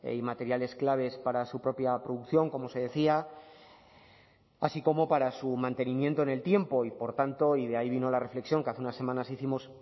y materiales claves para su propia producción como se decía así como para su mantenimiento en el tiempo y por tanto y de ahí vino la reflexión que hace unas semanas hicimos